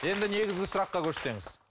енді негізгі сұраққа көшсеңіз